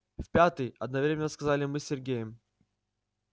в пятый одновременно сказали мы с сергеем